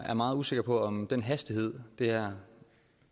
er meget usikker på om den hastighed det her